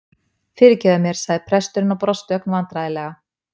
Fyrirgefðu mér- sagði presturinn og brosti ögn vandræðalega.